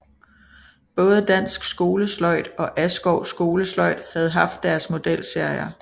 Både Dansk Skolesløjd og Askov Skolesløjd havde haft deres modelserier